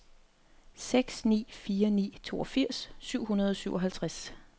seks ni fire ni toogfirs syv hundrede og syvoghalvtreds